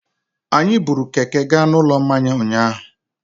Anyị buru Keke gaa Ụlọ Mmanya ụnyahụ.